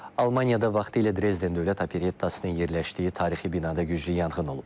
Almaniyada vaxtilə Drezden Dövlət Operettasının yerləşdiyi tarixi binada güclü yanğın olub.